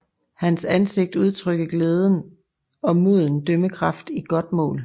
Hans ansigt udtrykte glæde og moden dømmekraft i godt mål